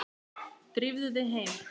Drífðu þig heim.